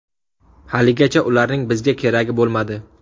Haligacha ularning bizga keragi bo‘lmadi.